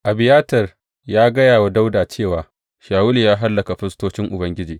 Abiyatar gaya wa Dawuda cewa, Shawulu ya hallaka firistocin Ubangiji.